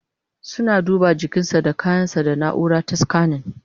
Suna duba jikinsa da kayan sa da naura ta scanning